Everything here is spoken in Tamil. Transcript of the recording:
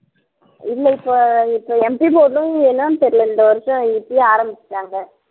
இல்லை இப்ப இப்ப MP என்னன்னு தெரியலே இந்த வருஷம் இப்பயே ஆரம்பிச்சுட்டாங்க